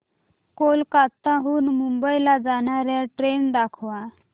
कोलकाता हून मुंबई ला जाणार्या ट्रेन दाखवा